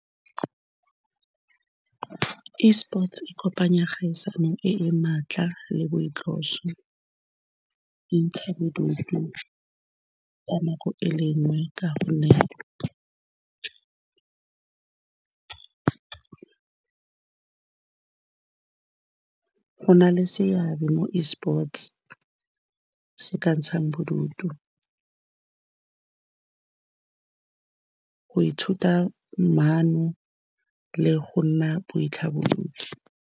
eSports-e e kopanya kgaisano e e maatla le go ntsha bodutu ka nako e le nngwe, ka gonne go na le seabe mo eSports-e se ka ntshang bodutu, go ithuta maano le go nna boitlhabolodi.